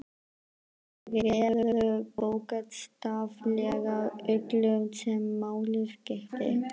Þær réðu bókstaflega öllu sem máli skipti.